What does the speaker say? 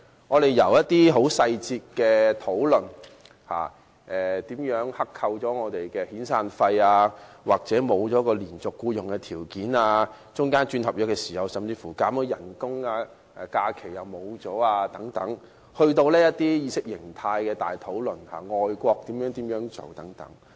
我們既討論了議題的細節，包括外判商如何剋扣工人的遣散費、工人喪失連續僱用的條件，以及續約時被削減工資和失去假期等，亦討論了較大範圍的意識形態及外國的做法等。